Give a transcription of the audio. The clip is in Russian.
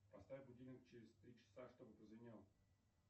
поставь будильник через три часа чтобы прозвенел